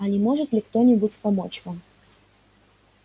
а не может ли кто-нибудь помочь вам